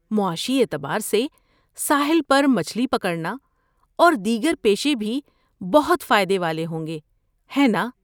معاشی اعتبار سے، ساحل پر مچھلی پکڑنا اور دیگر پیشے بھی بہت فائدے والے ہوں گے، ہے ناں؟